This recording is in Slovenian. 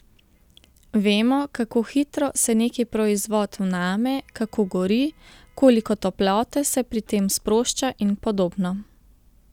Vemo, kako hitro se neki proizvod vname, kako gori, koliko toplote se pri tem sprošča in podobno.